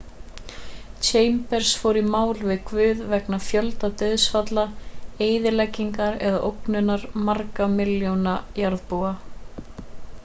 chambers fór í mál við guð vegna fjölda dauðsfalla eyðileggingar og ógnunar margra milljóna jarðarbúa